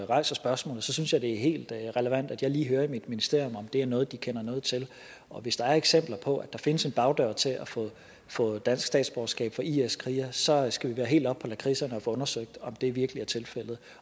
rejser spørgsmålet synes jeg det er helt relevant at jeg lige hører i mit ministerium om det er noget de kender noget til og hvis der er eksempler på at der findes en bagdør til at få dansk statsborgerskab for is krigere så skal vi være helt oppe på lakridserne og få undersøgt om det virkelig er tilfældet